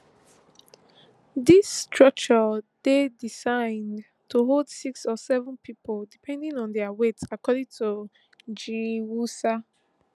dis structure dey designed to hold six or seven pipo depending on dia weight according to giwusa